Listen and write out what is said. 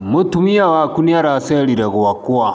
Mũtumia waku nĩaracerire gwakwa.